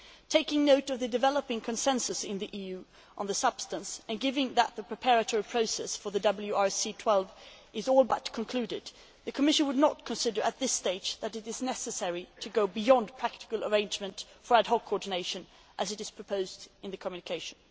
Taking note of the developing consensus in the EU on the substance and given that the preparatory process for the WRC 12 is all but concluded, the Commission would not consider it necessary at this stage to go beyond a practical arrangement for ad hoc coordination, as is proposed in the communication.